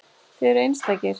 Þið eruð einstakir.